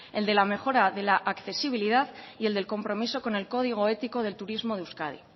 el de la mejora de la accesibilidad y el del compromiso con el código ético del turismo de euskadi